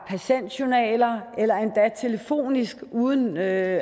patientjournaler eller endda telefonisk uden at